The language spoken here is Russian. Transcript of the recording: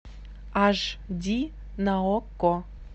аш ди на окко